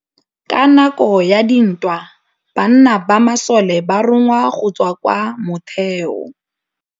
Ka nakô ya dintwa banna ba masole ba rongwa go tswa kwa mothêô.